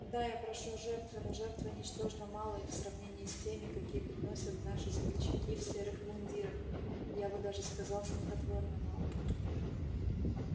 да я прошу жертвы но жертвы ничтожно малой в сравнении с теми какие приносят наши смельчаки в серых мундирах даже я бы сказал смехотворно малой